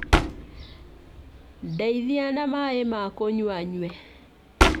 Ndeithia na maaĩ ma kũnyua nyue